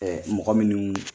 Ɛɛ mɔgɔ minnu